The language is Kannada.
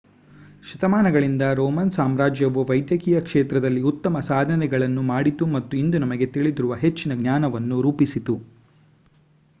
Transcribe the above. ಶತಮಾನಗಳಿಂದ ರೋಮನ್ ಸಾಮ್ರಾಜ್ಯವು ವೈದ್ಯಕೀಯ ಕ್ಷೇತ್ರದಲ್ಲಿ ಉತ್ತಮ ಸಾಧನೆಗಳನ್ನು ಮಾಡಿತು ಮತ್ತು ಇಂದು ನಮಗೆ ತಿಳಿದಿರುವ ಹೆಚ್ಚಿನ ಜ್ಞಾನವನ್ನು ರೂಪಿಸಿತು